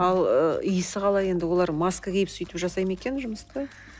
ал ы исі қалай енді олар маска киіп сөйтіп жасайды ма екен жұмысты